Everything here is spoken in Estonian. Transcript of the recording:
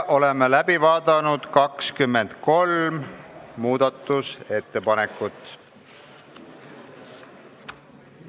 Oleme läbi vaadanud 23 muudatusettepanekut.